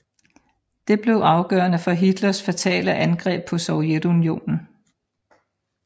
Det blev afgørende for Hitlers fatale angreb på Sovjetunionen